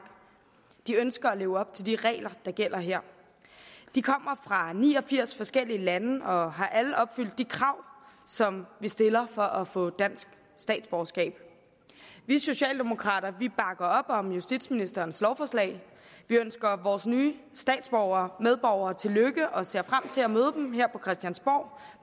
de ønsker at leve op til de regler der gælder her de kommer fra ni og firs forskellige lande og har alle opfyldt de krav som vi stiller for at få dansk statsborgerskab vi socialdemokrater bakker op om justitsministerens lovforslag vi ønsker vores nye statsborgere medborgere tillykke og ser frem til at møde dem her på christiansborg